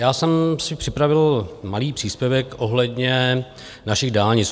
Já jsem si připravil malý příspěvek ohledně našich dálnic.